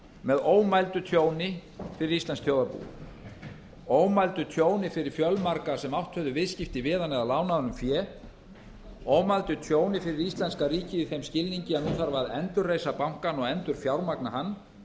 með ómældu tjóni fyrir íslenskt þjóðarbú ómældum tjóni fyrir fjölmarga sem átt höfðu viðskipti við hann eða lánað honum fé ómældu tjóni fyrir íslenska ríkið í þeim skilningi að nú þarf að endurreisa bankann og endurfjármagna hann